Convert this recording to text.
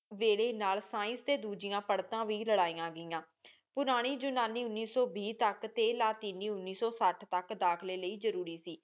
ਵੇਲੇ ਨਾਲ ਸਾਈਂਸ ਤੇ ਦੂਜੀਆਂ ਪੜਤਾ ਵੀ ਲਾਰੈਯਾਂ ਗਈਆਂ ਪੁਰਾਨੀ ਉਨਾਨੀ ਉਨੀ ਸੂ ਵੀ ਤਕ ਟੀ ਲਾਤੀਨੀ ਉਨੀ ਸੂ ਸਾਠ ਤਕ ਦਾਖਲੀ ਲੈ ਜ਼ਰੋਰੀ ਸੀ